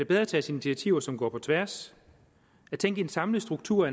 bedre tages initiativer som går på tværs at tænke i en samlet struktur